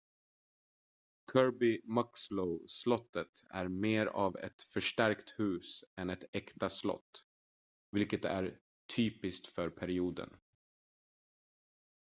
kirby muxloe-slottet är mer av ett förstärkt hus än ett äkta slott vilket är typiskt för perioden